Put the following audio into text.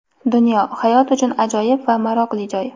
Dunyo — hayot uchun ajoyib va maroqli joy.